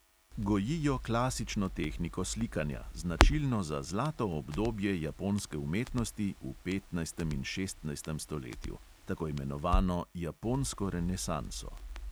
Gojijo klasično tehniko slikanja, značilno za zlato obdobje japonske umetnosti v petnajstem in šestnajstem stoletju, tako imenovano japonsko renesanso.